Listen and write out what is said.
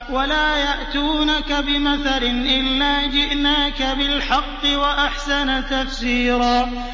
وَلَا يَأْتُونَكَ بِمَثَلٍ إِلَّا جِئْنَاكَ بِالْحَقِّ وَأَحْسَنَ تَفْسِيرًا